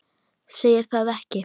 Segir það ekki?